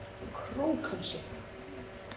Krókhálsi